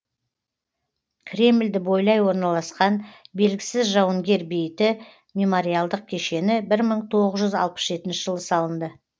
кремльді бойлай орналасқан белгісіз жауынгер бейіті мемориалдық кешені бір мың тоғыз жүз алпыс жетінші жылы салынды